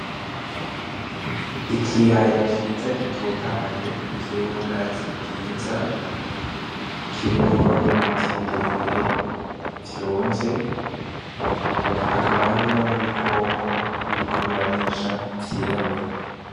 Ikiyaya ciza gitotahaye kirimwo ubwatsi bwiza kirimwo n'ibiti birebire vyonze hakaba harimwo n'ibikoko biriko birarisha vyirabura.